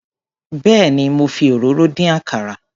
Béèni mo fi òróró dín àkàrà.